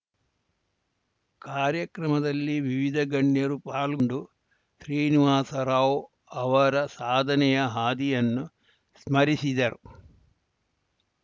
ಕಾರ್ಯಕ್ರಮದಲ್ಲಿ ವಿವಿಧ ಗಣ್ಯರು ಪಾಲ್ಗೊಂಡು ಶ್ರೀನಿವಾಸರಾವ್‌ ಅವರ ಸಾಧನೆಯ ಹಾದಿಯನ್ನು ಸ್ಮರಿಸಿದರು